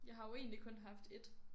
Jeg har jo egentlig kun haft ét